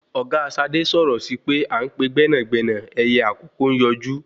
Ọ̀gá Ṣadé sọ̀rọ̀ síi pé à ń pè gbénàgbénà ẹyẹ àkókò ń yọjú